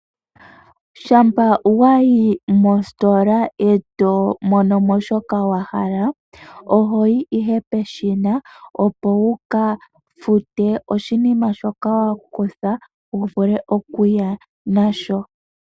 Shampa wa yi mositola e to mono mo shoka wa hala oho yi ihe peshina, opo wu ka fute oshinima shoka wa futa wu vule okuya nasho.